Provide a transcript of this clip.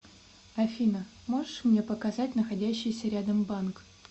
афина можешь мне показать находящийся рядом банк